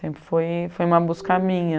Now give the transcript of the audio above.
Sempre foi uma busca minha.